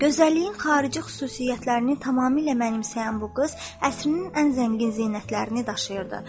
Gözəlliyin xarici xüsusiyyətlərini tamamilə mənimsəyən bu qız əsrinin ən zəngin zinətlərini daşıyırdı.